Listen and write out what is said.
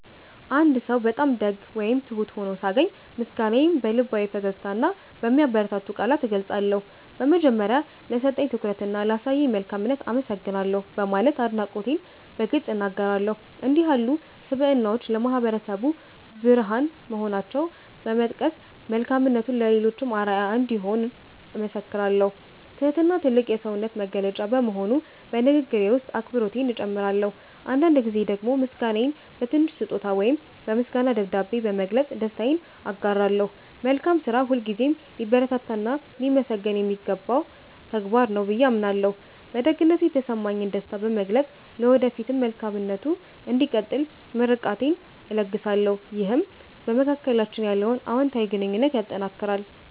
አንድ ሰው በጣም ደግ ወይም ትሁት ሆኖ ሳገኝ፣ ምስጋናዬን በልባዊ ፈገግታና በሚያበረታቱ ቃላት እገልጻለሁ። በመጀመሪያ፣ "ለሰጠኝ ትኩረትና ላሳየኝ መልካምነት አመሰግናለሁ" በማለት አድናቆቴን በግልጽ እናገራለሁ። እንዲህ ያሉ ስብዕናዎች ለማህበረሰቡ ብርሃን መሆናቸውን በመጥቀስ፣ መልካምነቱ ለሌሎችም አርአያ እንደሚሆን እመሰክራለሁ። ትህትና ትልቅ የሰውነት መገለጫ በመሆኑ፣ በንግግሬ ውስጥ አክብሮቴን እጨምራለሁ። አንዳንድ ጊዜ ደግሞ ምስጋናዬን በትንሽ ስጦታ ወይም በምስጋና ደብዳቤ በመግለጽ ደስታዬን አጋራለሁ። መልካም ስራ ሁልጊዜም ሊበረታታና ሊመሰገን የሚገባው ተግባር ነው ብዬ አምናለሁ። በደግነቱ የተሰማኝን ደስታ በመግለጽ፣ ለወደፊቱም መልካምነቱ እንዲቀጥል ምርቃቴን እለግሳለሁ። ይህም በመካከላችን ያለውን አዎንታዊ ግንኙነት ያጠናክራል።